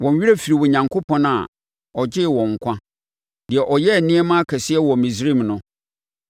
Wɔn werɛ firii Onyankopɔn a ɔgyee wɔn nkwa, deɛ ɔyɛɛ nneɛma akɛseɛ wɔ Misraim no,